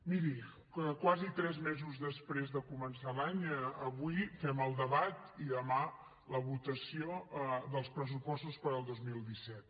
miri quasi tres mesos després de començar l’any avui fem el debat i demà la votació dels pressupostos per al dos mil disset